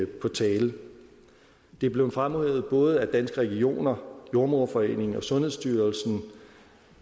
på tale det er blevet fremhævet både af danske regioner jordemoderforeningen og sundhedsstyrelsen